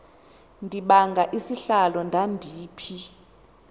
ndibanga isihlalo ndandiphi